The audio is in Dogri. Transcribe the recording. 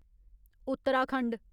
उत्तराखंड